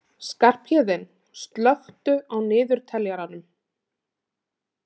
Skarphéðinn, slökktu á niðurteljaranum.